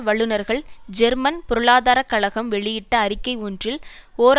வல்லுனர்கள் ஜெர்மன் பொருளாதார கழகம் வெளியிட்ட அறிக்கை ஒன்றில் ஓர்